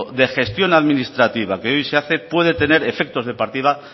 de gestión administrativa que hoy se hace puede tener efectos de partida